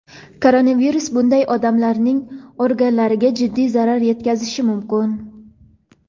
koronavirus bunday odamlarning organlariga jiddiy zarar yetkazishi mumkin.